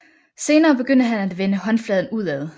Senere begyndte han at vende håndfladen udad